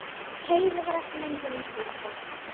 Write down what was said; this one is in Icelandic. Heiða var ekki lengur eins og dúkka.